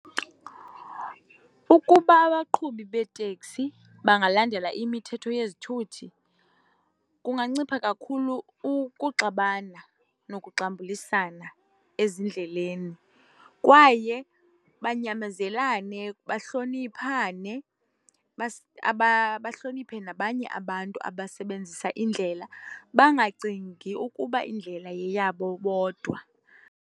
Ukuba abaqhubi beetekisi bangalandela imithetho yezithuthi kungancipha kakhulu ukuxabana nokuxambulisana ezindleleni kwaye banyamezelane, bahloniphane. Bahloniphe nabanye abantu abasebenzisa indlela, bangacingi ukuba indlela yeyabo bodwa.